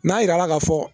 N'a yira la ka fɔ